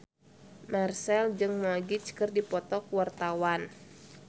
Marchell jeung Magic keur dipoto ku wartawan